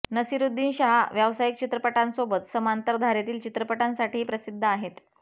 नसिरुद्दीन शाह व्यावसायिक चित्रपटांसोबत समांतर धारेतील चित्रपटांसाठीही प्रसिद्ध आहेत